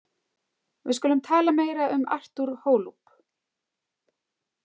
Við skulum tala meira um Artur Holub.